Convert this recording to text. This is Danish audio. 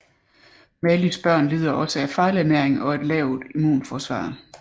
Malis børn lider også af fejlernæring og en lavt immunforsvar